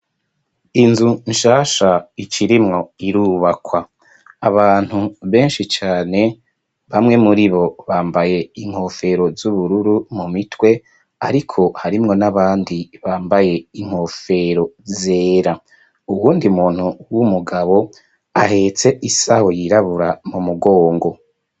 Inzu nshasha icairimwo irubakwa abantu benshi cane bamwe muri bo bambaye inkofero z'ubururu mu mitwe, ariko harimwo n'abandi bambaye inkofero zera uwundi muntu w'umugabo ahetse isaho yirabue mu mugongo.